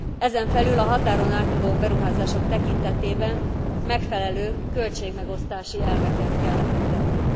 Ezen felül a határon átnyúló beruházások tekintetében megfelelő költségmegosztási elveket kell lefektetni.